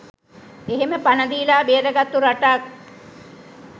එහෙම පණ දීලා බේරගත්තු රටක්